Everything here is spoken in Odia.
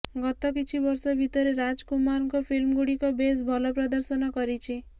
ଗତ କିଛି ବର୍ଷ ଭିତରେ ରାଜ୍ କୁମାରଙ୍କ ଫିଲ୍ମଗୁଡ଼ିକ ବେଶ୍ ଭଲ ପ୍ରଦର୍ଶନ କରିଛି